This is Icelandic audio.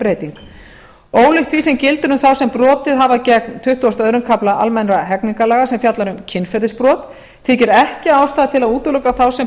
er breyting ólíkt því sem gildir um þá sem brotið hafa gegn tuttugasta og öðrum kafla almennra hegningarlaga sem fjallar um kynferðisbrot þykir ekki ástæða til að útiloka þá sem